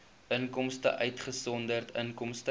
inkomste uitgesonderd inkomste